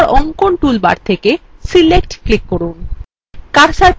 তারপর অঙ্কন toolbar then select click করুন